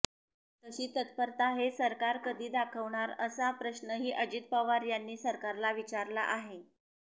तशी तत्परता हे सरकार कधी दाखवणार असा प्रश्नही अजित पवार यांनी सरकारला विचारला आहे